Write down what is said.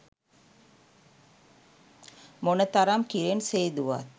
මොනතරම් කිරෙන් සේදුවත්